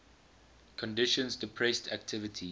conditions depressed activity